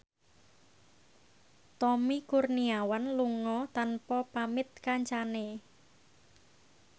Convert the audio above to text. Tommy Kurniawan lunga tanpa pamit kancane